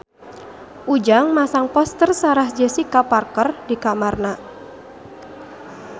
Ujang masang poster Sarah Jessica Parker di kamarna